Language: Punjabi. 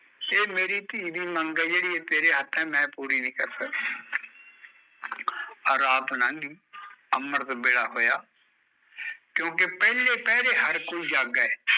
ਇਹ ਮੇਰੀ ਧੀ ਦੀ ਮੰਗ ਐ ਜਿਹੜੀ ਤੇਰੇ ਹੱਥ ਐ ਮੈਂ ਪੂਰੀ ਨੀ ਕਰ ਸਕਦਾ ਰਾਤ ਲੰਘ ਗਈ ਅੰਮ੍ਰਿਤ ਵੇਲਾ ਹੋਇਆ ਕਿਓਕਿ ਪਹਿਲੇ ਪਹਿਰੇ ਹਰ ਕੋਈ ਜਾਗੇ